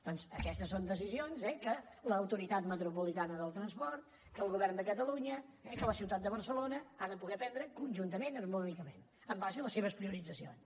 doncs aquestes són decisions eh que l’autoritat metropolitana del transport que el govern de catalunya que la ciutat de barcelona han de poder prendre conjuntament harmònicament en base a les seves prioritzacions